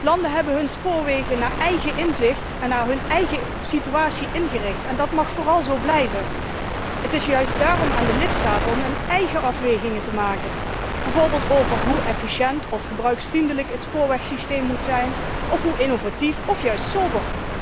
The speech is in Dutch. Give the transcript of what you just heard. Landen hebben hun spoorwegen naar eigen inzicht en naar hun eigen situatie ingericht, en dat moet vooral zo blijven. Het is juist daarom aan de lidstaten om hun eigen afwegingen te maken, bijvoorbeeld over de vraag hoe efficiënt of gebruikersvriendelijk het spoorwegsysteem moet zijn of hoe innovatief of juist sober.